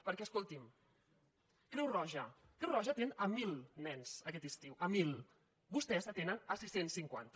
perquè escolti’m creu roja creu roja atén mil nens aquest estiu mil vostès n’atenen sis cents i cinquanta